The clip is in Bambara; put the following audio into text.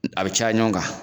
A be caya ɲɔgɔn kan.